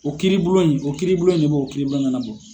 O kiiribulon in , o kiiribulon in de b'o bɔ.